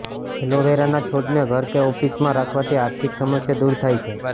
એલોવેરાના છોડને ઘર કે ઓફિસમાં રાખવાથી આર્થિક સમસ્યા દૂર થાય છે